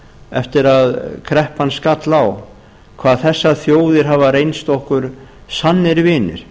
eftir að kreppan skall á hvað þessar þjóðir hafa reynst okkur sannir vinir